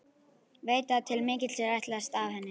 Veit að til mikils er ætlast af henni.